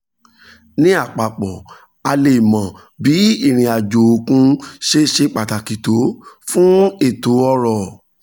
ní àpapọ̀ a lè mọ bí ìrìn àjò òkun ṣe ṣe pàtàkì tó fún ètò ọ̀rọ̀